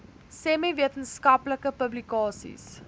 semi wetenskaplike publikasies